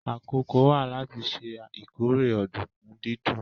Àkókò wà láti ṣe ìkórè ọ̀dùnkún dídún